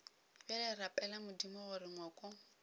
bjale rapela modimo gore ngwako